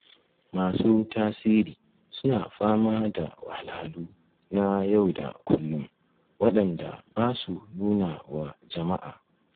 Masu tasiri suna fama da wahalhalu na yau da kullum waɗanda ba su nuna wa jama'a